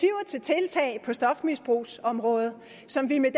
til tiltag på stofmisbrugsområdet som vi med